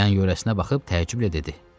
Yan-yörəsinə baxıb təəccüblə dedi.